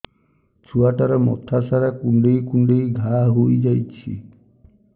ଛୁଆଟାର ମଥା ସାରା କୁଂଡେଇ କୁଂଡେଇ ଘାଆ ହୋଇ ଯାଇଛି